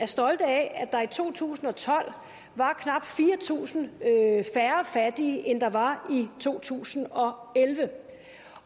stolte af at der i to tusind og tolv var knap fire tusind færre fattige end der var i to tusind og elleve